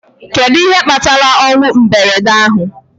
Kedu ihe kpatara ọnwụ mberede ahụ